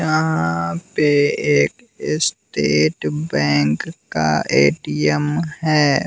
यहां पे एक स्टेट बैंक का ए_टी_एम है।